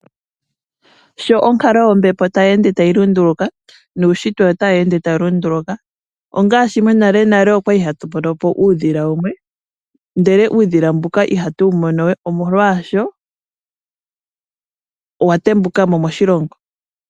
Sho onkalo yombepo tayi ende tayi lunduluka nuushitwe otawu ende tawu lunduluka. Ongaashi monale nale okwali hatu mono po uudhila wumwe ndele uudhila mbuka ihatu wumonowe, omolwaasho owatembuka mo moshilongo.